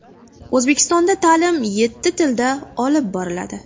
O‘zbekistonda ta’lim yetti tilda olib boriladi.